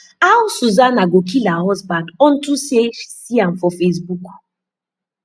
how susanna go kill her husband unto say she see am for facebook